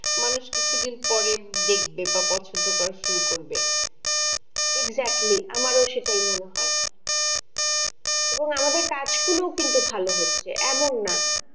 মানুষ কিছুদিন পরে দেখবে বা পছন্দ করা শুরু করবে, exactly আমারও সেটাই মনে হয়, এবং আমাদের কাজগুলো কিন্তু ভালো হচ্ছে এমন না